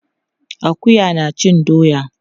Akuya na cin doya.